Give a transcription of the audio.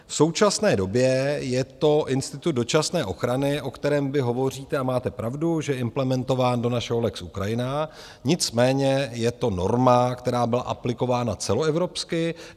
V současné době je to institut dočasné ochrany, o kterém vy hovoříte, a máte pravdu, že je implementován do našeho lex Ukrajina, nicméně je to norma, která byla aplikována celoevropsky.